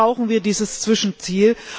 Dazu brauchen wir dieses Zwischenziel.